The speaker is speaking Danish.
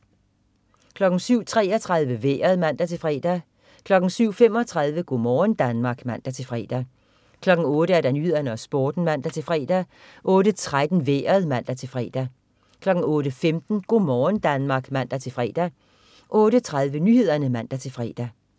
07.33 Vejret (man-fre) 07.35 Go' morgen Danmark (man-fre) 08.00 Nyhederne og Sporten (man-fre) 08.13 Vejret (man-fre) 08.15 Go' morgen Danmark (man-fre) 08.30 Nyhederne (man-fre)